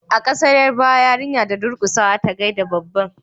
a kasar yarbawa yarinya da durkusawa ta gaida babban